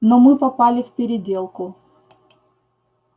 но мы попали в переделку